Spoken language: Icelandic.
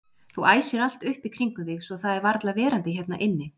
Þú æsir allt upp í kringum þig svo það er varla verandi hérna inni.